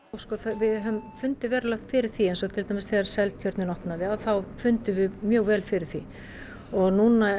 við höfum fundið verulega fyrir því eins og til dæmis þegar Seltjörnin opnaði þá fundum við mjög vel fyrir því og núna